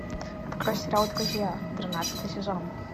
открой сериал друзья тринадцатый сезон